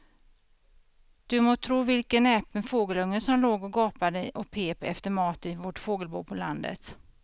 Du må tro vilken näpen fågelunge som låg och gapade och pep efter mat i vårt fågelbo på landet.